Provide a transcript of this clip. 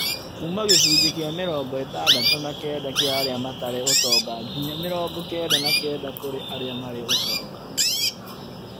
Kuuma gĩcunjĩ kĩa mĩrongo ĩtandatũ na kenda kĩa arĩa matarĩ ũtonga ngĩnya mĩrongo kenda na kenda kũrĩ arĩa marĩ ũtonga